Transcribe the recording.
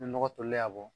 Ni nɔgɔ tolilen y'a bɔ